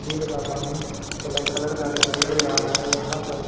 झील का पानी ब्लैक कलर का दिखाई दे रहा है यहां पर--